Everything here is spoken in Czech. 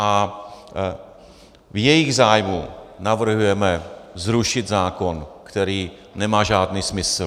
A v jejich zájmu navrhujeme zrušit zákon, který nemá žádný smysl.